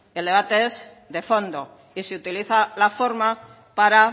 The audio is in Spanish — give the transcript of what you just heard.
el debate es de fondo y se utiliza la forma para